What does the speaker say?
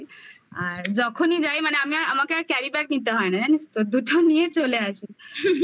আর যখনই যাই মানে আমি আর আমাকে আর carry bag কিনতে হয় না জানিস তো দুটো নিয়ে চলে আসি